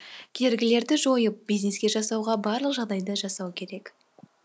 кергілерді жойып бизнес жасауға барлық жағдайды жасау керек